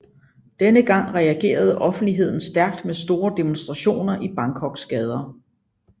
Denne gang reagerede offentligheden stærkt med store demonstrationer i Bangkoks gader